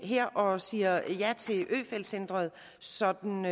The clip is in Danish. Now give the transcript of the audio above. her og siger ja til øfeldt centret sådan uden